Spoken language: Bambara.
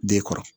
Den kɔrɔ